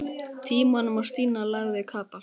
Tímanum og Stína lagði kapal.